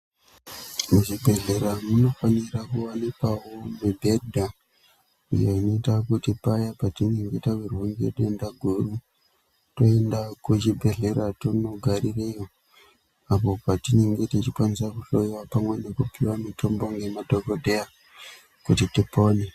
Muzvibhedhlera munofanira kuwanikwawo mibhedha yekuita kuti paya patinenge tawirwa ngedenda guru toenda kuchibhedhlera tondogarireyo apo patinenge techikwanisa kuhloyiwa pamwe chete nekupuwa mutombo ngemadhokodheya kuti pone.